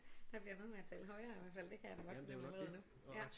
Der bliver noget med at tale højere i hvert fald det kan jeg da godt fornemme allerede nu ja